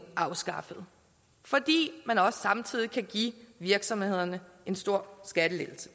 afskaffet fordi man også samtidig kan give virksomhederne en stor skattelettelse